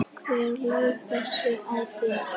Hver laug þessu að þér?